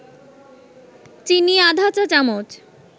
চিনি আধা চা-চামচ